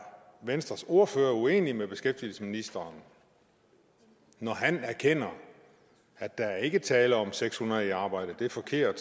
venstres ordfører uenig med beskæftigelsesministeren når han erkender at der ikke er tale om at seks hundrede i arbejde det er forkert og